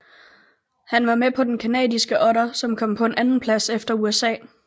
Han var med på den canadiske otter som kom på en andenplads efter USA